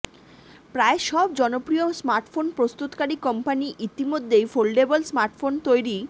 প্রায় সব জনপ্রিয় স্মার্টফোন প্রস্তুতকারী কোম্পানি ইতিমধ্যেই ফোল্ডেবল স্মার্টফোন তৈরি